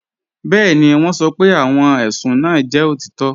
Bẹẹni, wọn sọ́ pé awọn ẹṣùn náà jẹ́ otitọ